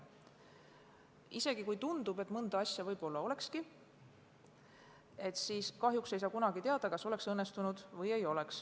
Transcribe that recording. Isegi kui tundub, et mõnda asja võib-olla olekski teinud teisiti, siis kahjuks ei saa kunagi teada, kas see oleks õnnestunud või mitte.